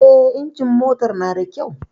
Eh, injimin motar na da kyau